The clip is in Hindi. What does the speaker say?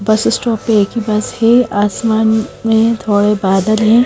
बस स्टॉप पे एक ही बस है आसमान में थोड़े बादल हैं।